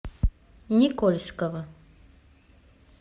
никольского